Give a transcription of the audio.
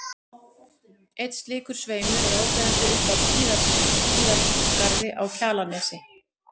Einn slíkur sveimur er áberandi upp af Tíðaskarði á Kjalarnesi.